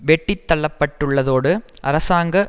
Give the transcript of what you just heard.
வெட்டித்தள்ளப்பட்டுள்ளதோடு அரசாங்க